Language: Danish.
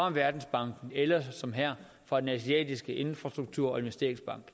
af verdensbanken eller som her af den asiatiske infrastrukturinvesteringsbank